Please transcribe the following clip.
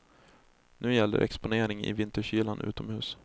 Nu gäller exponering i vinterkylan utomhus.